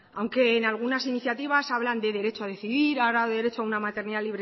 aunque en algunas iniciativas hablan de derecho a decidir hablan de derecho a una maternidad